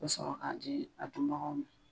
I bɛ sɔrɔ k'a di a dunbagaw ma.